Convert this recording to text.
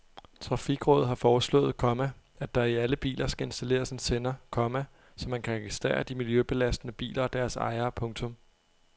Trafikrådet har foreslået, komma at der i alle biler skal installeres en sender, komma så man kan registrere de miljøbelastende biler og deres ejere. punktum